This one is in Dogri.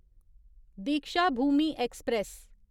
दीक्षाभूमि ऐक्सप्रैस